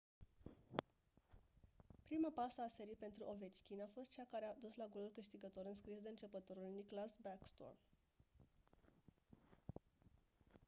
prima pasă a serii pentru ovechkin a fost cea care a dus la golul câștigător înscris de începătorul nicklas backstrom